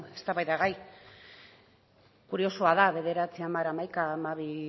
eztabaidagai kuriosoa da bederatzi hamar hamaika hamabi